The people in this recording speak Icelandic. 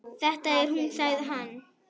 Þetta er hún sagði hann.